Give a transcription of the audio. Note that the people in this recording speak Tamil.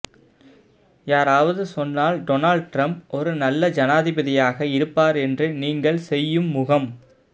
யாராவது சொன்னால் டோனால்ட் டிரம்ப் ஒரு நல்ல ஜனாதிபதியாக இருப்பார் என்று நீங்கள் செய்யும் முகம்